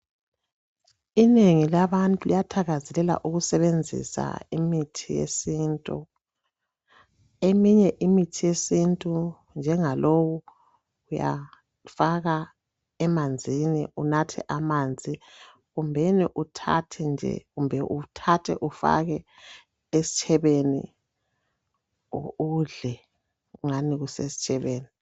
Inrngi labantu liyathakazelela ukusebenzisa imithi yesintu. Eminye imithi yesintu, njengalowu, uyafaka emanzini unathe amanzi kumbe uthathe ufake esitshebeni udle ngani kusesitshebeni.